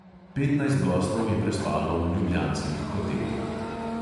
Petnajst gostov je prespalo v ljubljanskih hotelih.